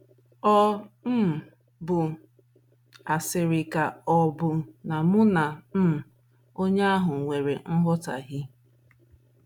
Ọ̀ um bụ asịrị ka ọ̀ bụ na mụ na um onye ahụ nwere nghọtahie?